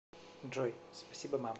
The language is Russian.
джой спасибо мам